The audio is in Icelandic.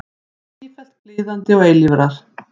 Sífellt kliðandi og eilífrar.